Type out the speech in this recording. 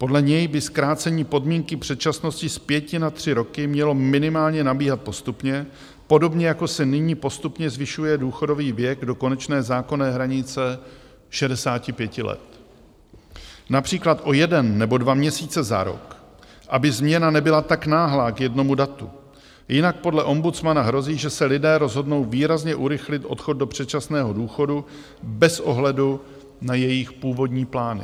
Podle něj by zkrácení podmínky předčasnosti z pěti na tři roky mělo minimálně nabíhat postupně, podobně jako se nyní postupně zvyšuje důchodový věk do konečné zákonné hranice 65 let, například o jeden nebo dva měsíce za rok, aby změna nebyla tak náhlá k jednomu datu, jinak podle ombudsmana hrozí, že se lidé rozhodnou výrazně urychlit odchod do předčasného důchodu bez ohledu na jejich původní plány.